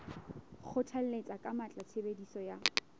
kgothalletsa ka matla tshebediso ya